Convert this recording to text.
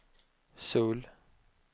Söul